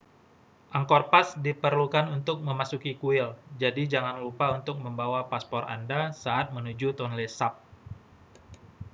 angkor pass diperlukan untuk memasuki kuil jadi jangan lupa untuk membawa paspor anda saat menuju tonle sap